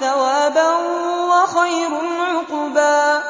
ثَوَابًا وَخَيْرٌ عُقْبًا